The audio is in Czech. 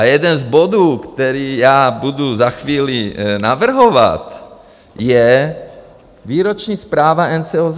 A jeden z bodů, který já budu za chvíli navrhovat, je výroční zpráva NCOZ.